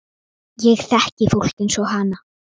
Ég þekki fólk eins og hana.